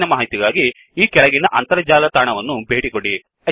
ಹೆಚ್ಚಿನ ಮಾಹಿತಿಗಾಗಿ ಈ ಕೆಳಗಿನ ಅಂತರ್ಜಾಲ ತಾಣವನ್ನು ಭೇಟಿಕೊಡಿ